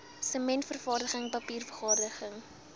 sementvervaardiging papier vervaardiging